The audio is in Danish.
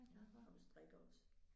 Og du strikker også